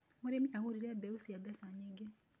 Mũrĩmi agũrire mbeũ cia mbeca nyingĩ.